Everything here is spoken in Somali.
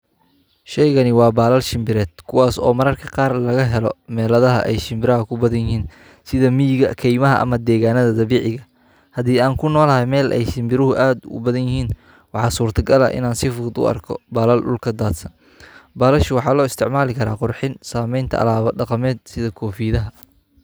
Sheygani waa balal shinbired kuwas oo mararka qar laga helo melaha ee shinbiraha ku badan yihin sitha miga keymaha ama deganadha dabiciga ah hadii an kunolahay meel ee shinbiruhu aad ee u badan yihin waxaa surta gal ah in an si fudud u arko balal dulka dadsan balashu waxaa lo isticmali karaa qurxin kofiyadaha.